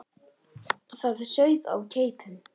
Það sauð á keipum.